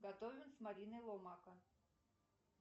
готовим с мариной ломака